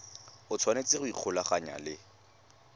o tshwanetse go ikgolaganya le